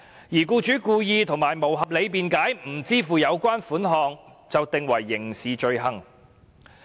如僱主故意及無合理辯解而不支付有關款項，即屬犯罪。